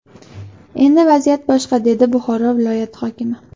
Endi vaziyat boshqa”, dedi Buxoro viloyati hokimi.